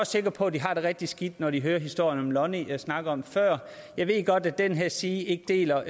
sikker på at de har det rigtig skidt når de hører historien om lonnie jeg snakkede om før jeg ved godt at den her side ikke deler